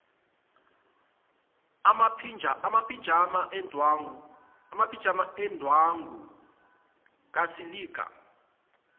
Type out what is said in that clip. amaphijama endwangu kasilika